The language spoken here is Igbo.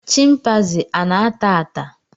chịmpaizịn ana ata ata?